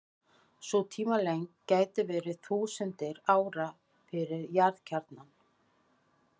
Sú tímalengd gæti verið þúsundir ára fyrir jarðkjarnann.